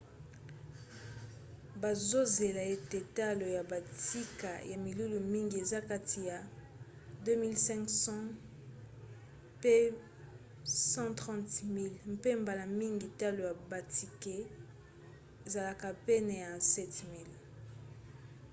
bazozela ete talo ya batike ya milulu mingi eza kati ya ¥2 500 pe ¥130 000 mpe mbala mingi talo ya batike ezalaka pene ya ¥7 000